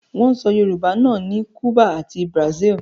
Wọ́n ń sọ Yorùbá náà ní Cùbà ati Brazil